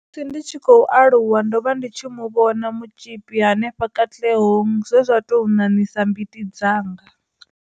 Musi ndi tshi khou aluwa, ndo vha ndi tshi mu vhona mutzhipi henefha Katlehong zwe zwa tou ṋaṋisa mbiti dzanga.